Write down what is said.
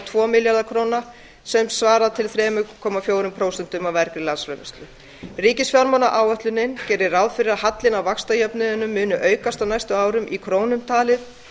tvo milljarða króna sem svarar til þrjú komma fjögur prósent af af ríkisfjármálaáætlunin gerir ráð fyrir að hallinn á vaxtajöfnuðinum muni aukast á næstu árum í krónum talið